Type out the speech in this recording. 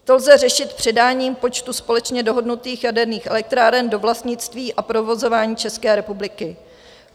To lze řešit předáním počtu společně dohodnutých jaderných elektráren do vlastnictví a provozování České republiky.